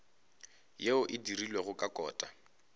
yeo e dirilwego ka kota